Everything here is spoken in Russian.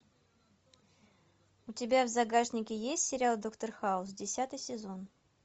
у тебя в загашнике есть сериал доктор хаус десятый сезон